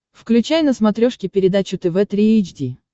включай на смотрешке передачу тв три эйч ди